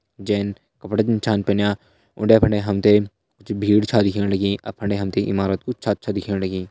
जैन कपड़ा छ पहनया उंडे फुंडे हम ते कुछ भीड़ छ दिखेण लगीं अर फंडे हम त इमारत कू छत छ दिखेण लगीं।